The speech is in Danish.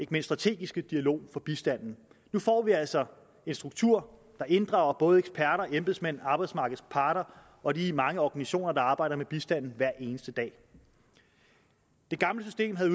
den strategiske dialog om bistanden nu får vi altså en struktur der inddrager både eksperter embedsmænd arbejdsmarkedets parter og de mange organisationer der arbejder med bistanden hver eneste dag det gamle system havde